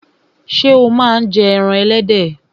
Ṣé o máa ń jẹ ẹran ẹlẹ́dẹ̀?